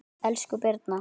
Elsku Birna